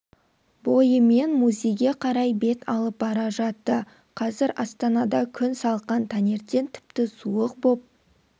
бойымен музейге қарай бет алып бара жатты қазір астанада күн салқын таңертең тіпті суық боп